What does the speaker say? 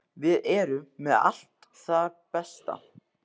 Við erum með allt það besta.